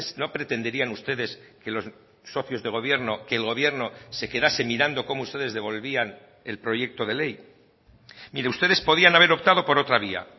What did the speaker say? no pretenderían ustedes que los socios de gobierno que el gobierno se quedase mirando como ustedes devolvían el proyecto de ley mire ustedes podían haber optado por otra vía